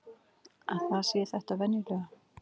Að það sé þetta venjulega.